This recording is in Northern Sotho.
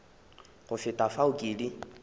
go feta fao ke di